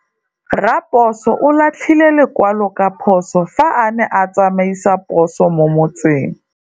Raposo o latlhie lekwalô ka phosô fa a ne a tsamaisa poso mo motseng.